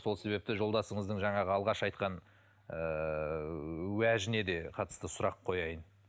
сол себепті жолдасыңыздың жаңағы алғаш айтқан ыыы уәжіне де қатысты сұрақ қояйын